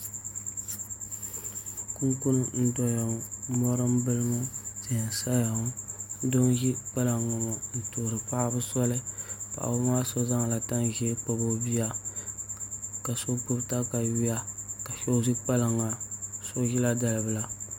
Kunkun n doya ŋɔ mori n bili ŋɔ tihi n saya ŋɔ doo n ʒi kpalaŋ ŋɔ maa n tuhuri paɣaba soli paɣaba maa so zaŋla tani ʒiɛ kpabi o bia ka so gbubi katawiya ka so ʒi kpalaŋa so ʒila dalibila